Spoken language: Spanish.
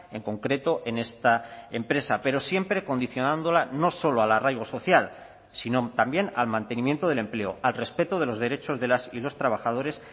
en concreto en esta empresa pero siempre condicionándola no solo al arraigo social sino también al mantenimiento del empleo al respeto de los derechos de las y los trabajadores